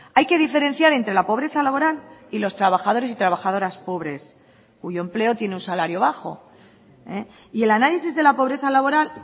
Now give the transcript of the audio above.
hay que diferenciar entre la pobreza laboral y los trabajadores y trabajadoras pobres cuyo empleo tiene un salario bajo y el análisis de la pobreza laboral